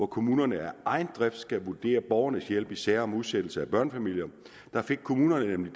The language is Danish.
kommunerne af egen drift skal vurdere borgernes hjælp i sager om udsættelse af børnefamilier der fik kommunerne nemlig